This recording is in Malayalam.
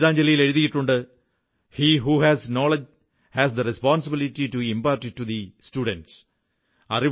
അദ്ദേഹം ഗീതാഞ്ജലിയിൽ എഴുതിയിട്ടുണ്ട് he who has the knowledge has the responsibility to impart it to the students